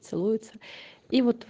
целуются и вот